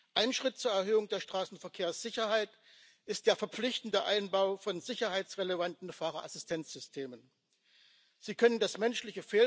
jaar sterk is gedaald, maak ik me zorgen. De autoproducenten kunnen hun positie alleen veiligstellen als ze aangemoedigd worden om te innoveren. De auto werd in Europa uitgevonden!